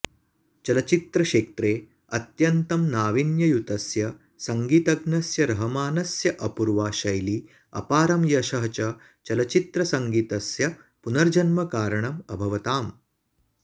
चलच्चित्रक्षेत्रे अत्यन्तं नावीन्ययुतस्य सङ्गीतज्ञस्य रहमानस्य अपूर्वा शैली अपारं यशः च चलच्चित्रसङ्गीतस्य पुनर्जन्मकारणम् अभवताम्